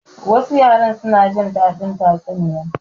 Wasu yara suna jin daɗin tatsuniya.